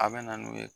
A bɛ na n'u ye